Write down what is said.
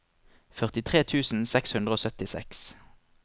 førtitre tusen seks hundre og syttiseks